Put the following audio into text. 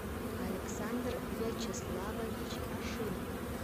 александр вячеславович ашинов